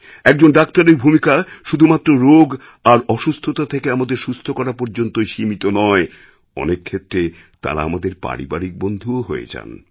একজন ডাক্তারের ভূমিকা শুধুমাত্র রোগ আর অসুস্থতা থেকে আমাদের সুস্থ করা পর্যন্তই সীমিত নয় অনেক ক্ষেত্রে তাঁরা আমাদের পারিবারিক বন্ধু হয়ে যান